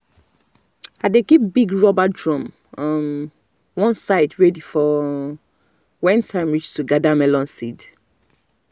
i dey keep big rubber drum um one side ready for um when time reach to gather melon seed.